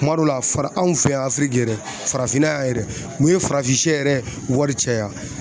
Kuma dɔ la fara anw fɛ yan yɛrɛ farafinna yan yɛrɛ n'u ye farafin yɛrɛ wari caya